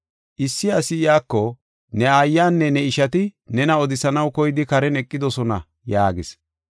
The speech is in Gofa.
Issi asi iyako, “Ne aayanne ne ishati nena odisanaw koyidi karen eqidosona” yaagis.